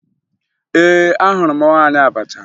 Ee, ahụrụ m nwaanyị abacha